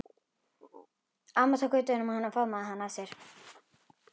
Amma tók utan um hann og faðmaði hann að sér.